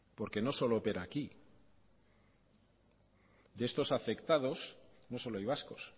porque no solo opera aquí de estos afectados no solo hay vascos